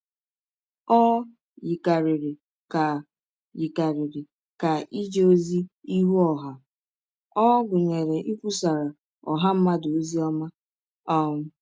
Ọ yikarịrị ka yikarịrị ka ije ọzi ihụ ọha a ọ̀ gụnyere ikwụsara ọha mmadụ ọzi ọma um.